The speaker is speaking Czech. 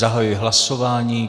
Zahajuji hlasování.